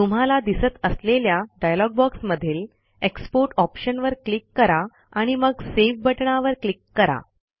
तुम्हाला दिसत असलेल्या डायलॉग बॉक्समधील एक्सपोर्ट ऑप्शनवर क्लिक करा आणि मग सावे बटणावर क्लिक करा